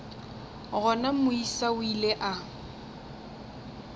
gona moisa o ile a